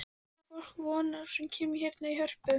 Hverju á fólk von á sem kemur hérna í Hörpu?